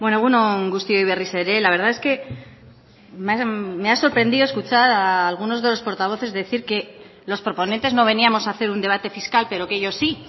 egun on guztioi berriz ere la verdad es que me ha sorprendido escuchar a algunos de los portavoces decir que los proponentes no veníamos a hacer un debate fiscal pero que ellos sí